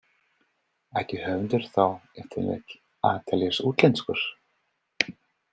Ætti höfundur þá ef til vill að teljast útlenskur?